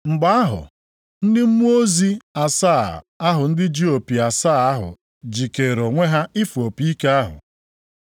Mgbe ahụ, ndị mmụọ ozi asaa ahụ ndị ji opi asaa ahụ jikeere onwe ha ịfụ opi ike ahụ.